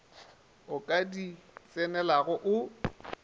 o ka di tsenelago o